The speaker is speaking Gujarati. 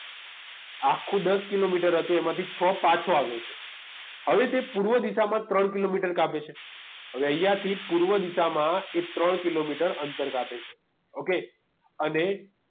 આખું દસ કિલોમીટર હતું એમાંથી છ પાછો આવે છે હવે તે પૂર્વ દિશામાં ત્રણ કિલોમીટર કાપે છે હવે અહીંયા થી પૂર્વ દિશામાં એ ત્રણ કિલોમીટર અંતર કાપે છે okay અને